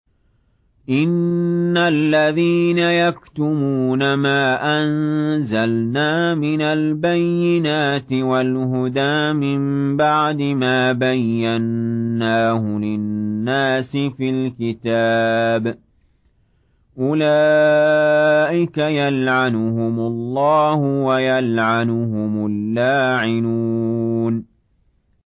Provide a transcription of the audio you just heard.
إِنَّ الَّذِينَ يَكْتُمُونَ مَا أَنزَلْنَا مِنَ الْبَيِّنَاتِ وَالْهُدَىٰ مِن بَعْدِ مَا بَيَّنَّاهُ لِلنَّاسِ فِي الْكِتَابِ ۙ أُولَٰئِكَ يَلْعَنُهُمُ اللَّهُ وَيَلْعَنُهُمُ اللَّاعِنُونَ